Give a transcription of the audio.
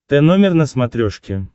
тномер на смотрешке